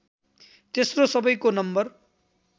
तेस्रो सबैको नम्बर